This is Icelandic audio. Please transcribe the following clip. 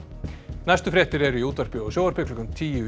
næstu fréttir eru í útvarpi og sjónvarpi klukkan tíu í